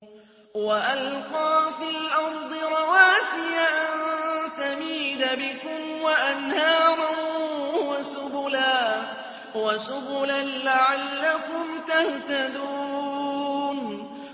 وَأَلْقَىٰ فِي الْأَرْضِ رَوَاسِيَ أَن تَمِيدَ بِكُمْ وَأَنْهَارًا وَسُبُلًا لَّعَلَّكُمْ تَهْتَدُونَ